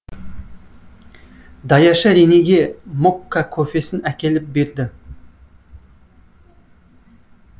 даяшы рене ге мокка кофесін әкеліп берді